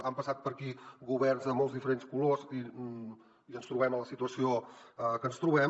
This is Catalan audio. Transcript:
han passat per aquí governs de molts diferents colors i ens trobem en la situació que ens trobem